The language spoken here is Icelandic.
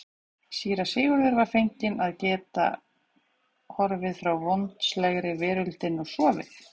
Síra Sigurður var feginn að geta horfið frá vondslegri veröldinni og sofið.